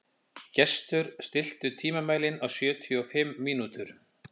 Gestur, stilltu tímamælinn á sjötíu og fimm mínútur.